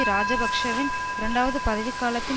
இராஜபக்ஷவின் இரண்டாவது பதவிக்காலத்தின்